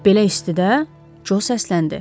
Belə istidə Co səsləndi.